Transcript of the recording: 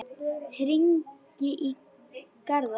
Hringi í Garðar.